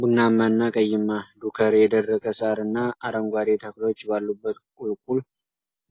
ቡናማና ቀይማ ዱከር የደረቀ ሳርና አረንጓዴ ተክሎች ባሉበት ቁልቁል